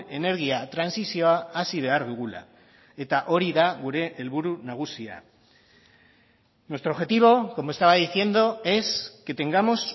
energia trantsizioa hasi behar dugula eta hori da gure helburu nagusia nuestro objetivo como estaba diciendo es que tengamos